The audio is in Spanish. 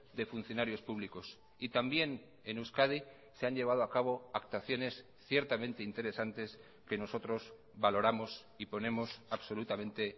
de funcionarios públicos y también en euskadi se han llevado a cabo actuaciones ciertamente interesantes que nosotros valoramos y ponemos absolutamente